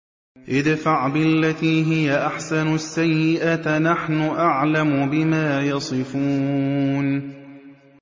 ادْفَعْ بِالَّتِي هِيَ أَحْسَنُ السَّيِّئَةَ ۚ نَحْنُ أَعْلَمُ بِمَا يَصِفُونَ